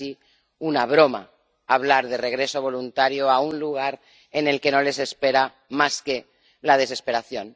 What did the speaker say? casi una broma hablar de regreso voluntario a un lugar en el que no les espera más que la desesperación.